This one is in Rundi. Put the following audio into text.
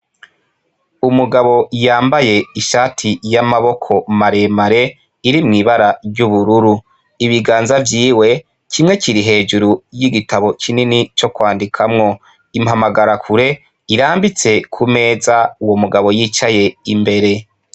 Umugabo yambaye ishati y'amaboko maremare iri mw'ibara ry'ubururu ibiganza vyiwe kimwe kiri hejuru y'igitabo kinini co kwandikamwo impamagarakure irambitse ku meza uwo mugabo yicaye imbere.